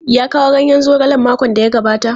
Ya kawo ganyen zogalen makon da ya gabata?